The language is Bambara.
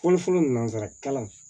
Fɔlɔfɔlɔ nanzara kalan